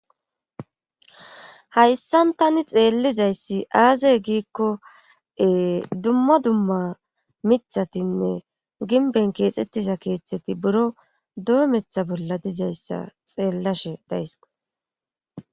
hayssan tani xeellizayssi aaze giikko ee dumma dumma mithatinne ginben keexxettiza keeththeti buro doometha bolla dizayssa xeellashe dayskko